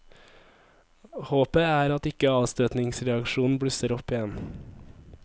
Håpet er at ikke avstøtningsreaksjonen blusser opp igjen.